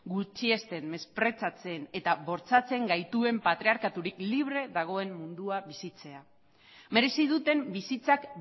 gutxiesten mesprezatzen eta bortxatzen gaituen patriarkatutik libre dagoen mundua bizitzea merezi duten bizitzak